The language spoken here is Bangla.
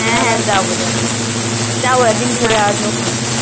হ্যাঁ হ্যাঁ যাবো যাবো যাবো একদিন ঘুরে আসব ক্ষণ